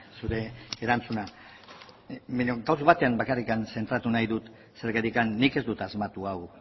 zure erantzuna baina gauza batean bakarrik zentratu nahi dut zergatik nik ez dut asmatu hau